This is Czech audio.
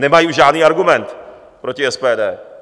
Nemají už žádný argument proti SPD.